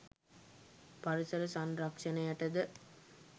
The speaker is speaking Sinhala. පරිසර සංරක්ෂණයට ද